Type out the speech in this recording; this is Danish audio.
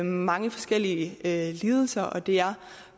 mange forskellige lidelser og det er